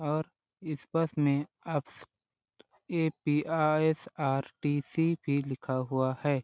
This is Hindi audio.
और इस परस में आप ए_पी_एस आर_टी_सी भी लिखा हुआ है।